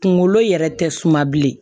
Kunkolo yɛrɛ tɛ suma bilen